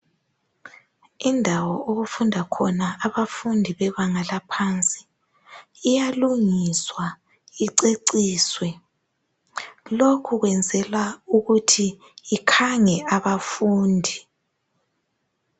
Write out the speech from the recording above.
Indawo okufunda khona abafundi bebanga laphansi iyalungiswa iceciswe lokhu kwenzelwa ukuthi ikhange abafundi.